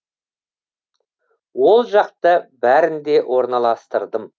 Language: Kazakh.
ол жақта бәрін де орналастырдым